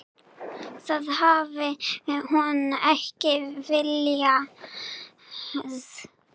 Það hafi hún ekki viljað.